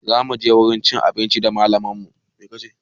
Zamu je wajen cin abinci da malaman mu